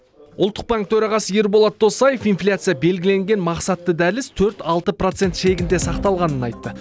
ұлттық банк төрағасы ерболат досаев инфляция белгіленген мақсатты дәліз төрт алты процент шегінде сақталғанын айтты